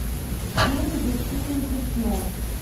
фильм защитники снов